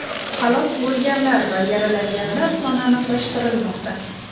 Halok bo‘lganlar va yaralanganlar soni aniqlashtirilmoqda.